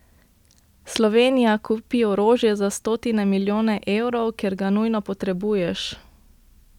Slovenija, kupi orožje za stotine milijonov evrov, ker ga nujno potrebuješ!